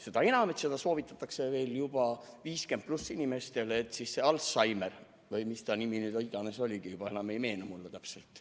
Seda enam, et seda soovitatakse meil juba üle 50-aastastele inimestele, Alzheimerit või mis iganes ta nimi oli, mulle ei meenugi enam täpselt.